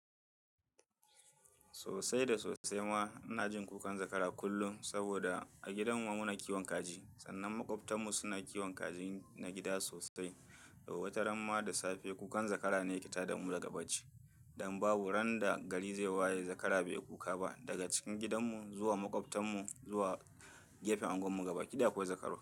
Sosai da sosai ma ina jin kukan zakara kullum saboda a gidan mu muna kiwon kaji sannan maƙwabtan mu suna kiwon kajin na gida sosai. Wata ramma da safe kukan zakara ne ke tada mu daga bacci don babu ran da gari zai waye zakara bai kuka ba. Daga cikin gidanmu zuwa maƙwabtan mu zuwa gefen unguwar mu gabaki ɗaya akwai zakaru.